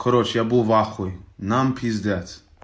короче я был вахуе нам пиздец